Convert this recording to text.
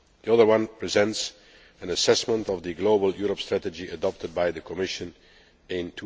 The other presents an assessment of the Global Europe Strategy adopted by the Commission in